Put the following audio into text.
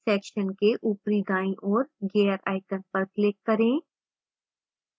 section के ऊपरी दाईं ओर gear icon पर click करें